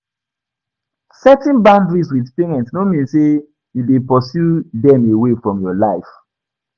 setting boundaries with parents no mean say you de pursue dem away from your life